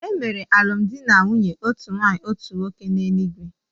E mere alụmdi na nwunye ha bụ́ otu nwaanyị otu nwoke n’eluigwe